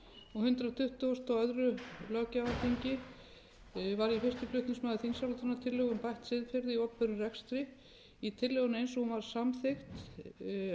og á hundrað tuttugasta og öðrum löggjafarþingi var ég fyrsti flutningsmaður þingsályktunartillögu um bætt siðferði í opinberum rekstri í tillögunni eins og hún var samþykkt